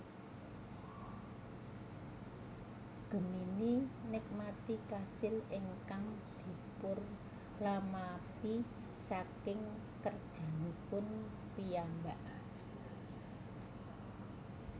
Gemini nikmati kasil ingkang dipunlamaphi saking kerjanipun piyambak